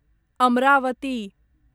Amravati